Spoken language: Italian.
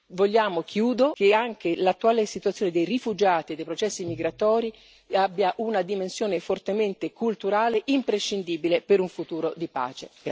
Vogliamo che anche l'attuale situazione dei rifugiati e dei processi migratori abbia una dimensione fortemente culturale, imprescindibile per un futuro di pace.